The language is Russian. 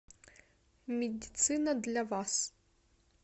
медицина для вас